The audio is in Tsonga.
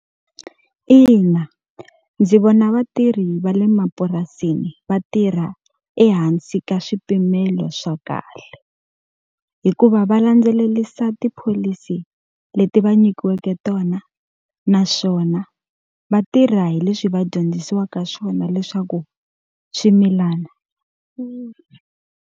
Ina ndzi vona vatirhi va le mapurasini va tirha ehansi ka swipimelo swa kahle. Hikuva va landzelerisa tipholisi leti va nyikiweke tona, naswona va tirha hi leswi va dyondzisiwaka swona leswaku swimilana .